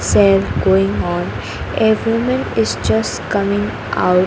going on a women is just coming out --